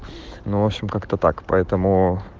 ну в общем как-то так поэтому